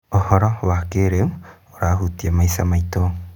ũhoro wa kĩrĩu ũrahutia maica maitũ.